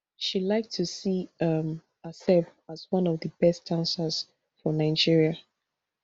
she like to see um herself as one of di best dancers for nigeria